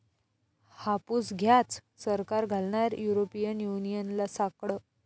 हापूस घ्याच, सरकार घालणार युरोपियन युनियनला साकडं